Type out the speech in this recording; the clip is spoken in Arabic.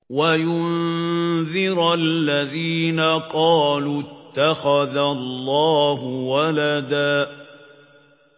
وَيُنذِرَ الَّذِينَ قَالُوا اتَّخَذَ اللَّهُ وَلَدًا